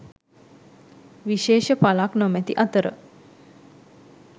විශේෂ පලක් නොමැති අතර